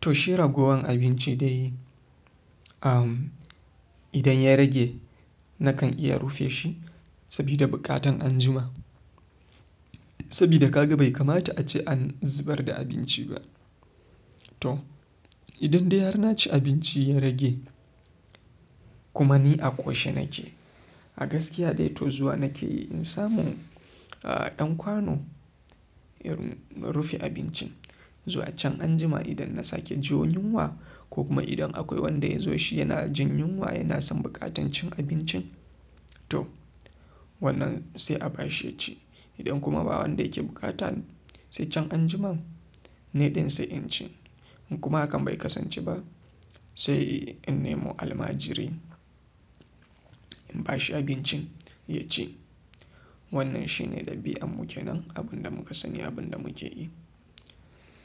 To shi ragowan abinci dai idan ya rage nakan iya rufe shi sabida bukatan anjima. Sabida kaga bai kamata ace an zubar da abinci ba. To idan dai har na ci abinci ya rage kuma ni a koshe nake, a gaskiya dai to zuwa nake yi in samu a-dan kwano ya-- na rufe abincin zuwa can anjima idan na sake jin yunwa ko kuma idan akwai wanda ya zo shi yana jin yunwa yana son bukatan cin abincin. To wannan sai a bashi ya ci. Idan kuma babu wanda yake bukata sai can anjima ni din sai in ci kuma hakan bai kasance ba sai in nemo almajiri in bashi abincin ya ci. Wannan shi ne dabian mu kennan abun da muka sani abunda muke yi